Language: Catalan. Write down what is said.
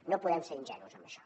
no podem ser ingenus en això